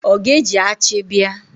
Ọ ga-eji achi bịa?